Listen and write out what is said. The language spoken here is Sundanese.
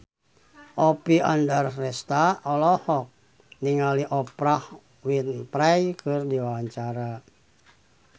Oppie Andaresta olohok ningali Oprah Winfrey keur diwawancara